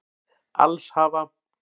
Alls hafa